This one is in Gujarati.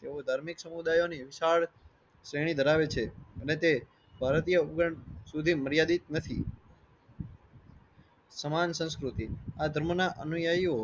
તેઓ ધાર્મિક સમુદાયઓ ની વિશાળ શ્રેણી ધરાવે છે. અને તે ભારતીય ઉપગણ સુધી માર્યાદિત નથી. સમાન સંસ્કૃતિ આ ધર્મ ના અનુયાયીઓ